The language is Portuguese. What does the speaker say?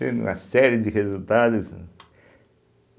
uma série de resultados.